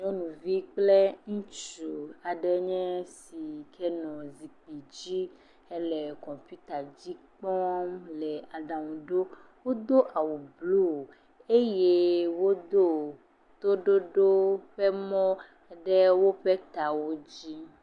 Nyɔnuvi kple ŋutsu aɖe nye si le zikpui dzi hele kɔmpita dzi le aɖa nu ɖom. Wodo awu blu eye wodo toɖoɖo ƒe mɔ ɖe woƒe tawo dzi.